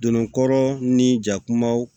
Donnɔgɔ ni jakumaw